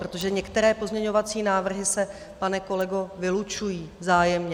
Protože některé pozměňovací návrhy se, pane kolego, vylučují vzájemně.